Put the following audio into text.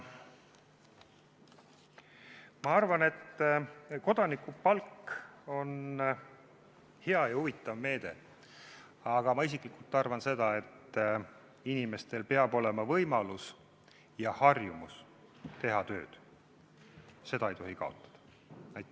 Ma arvan, et kodanikupalk on hea ja huvitav meede, aga ma isiklikult arvan seda, et inimesel peab olema võimalus ja harjumus teha tööd, seda ei tohi kaotada.